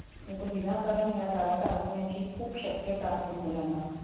नाहीतर विनाकारण ह्या जाळ्यात अडकण्याची खूप शक्यता असते मुलांना.